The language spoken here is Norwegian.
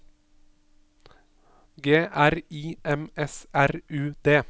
G R I M S R U D